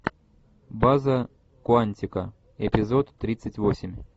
база куантико эпизод тридцать восемь